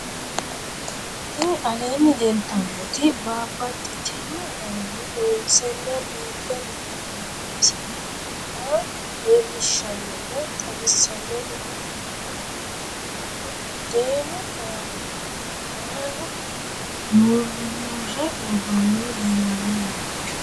Tinni aleenni leelittannotti babaxxittinno garinni loonseenna biiffe leelittanno misile maa leelishshanno woy xawisannori maattiya yinummoro budeennu aanna maalu murimmmure woroonnihu leelanno yaatte